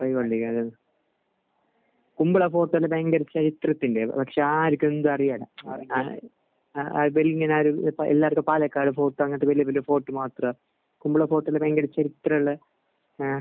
കുമ്പിളപ്പം ഭയങ്കര ഇല്ലേ? പക്ഷെ ആ എനിക്ക് അറിയില്ല. ആ അവരിങ്ങനെ ഇപ്പോൾ എല്ലായിടത്തും പാലക്കാട് ഫോർട്ട് അങ്ങനത്തെ വലിയ വലിയ ഫോർട്ട് മാത്രം ഇത്രയുമുള്ള ഏഹ്